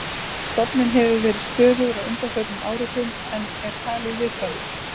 Stofninn hefur verið stöðugur á undanförnum áratugum en er talinn viðkvæmur.